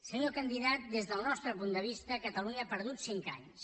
senyor candidat des del nostre punt de vista catalunya ha perdut cinc anys